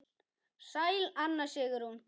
Sæl Anna Sigrún.